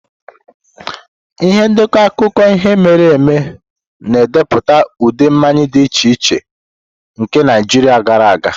Ihe ndekọ akụkọ ihe mere eme na-edepụta ụdị mmanya dị iche iche nke Naijiria gara aga.